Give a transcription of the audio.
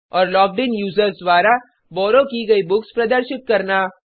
और logged in users द्वारा borrow की गयी बुक्स प्रदर्शित करना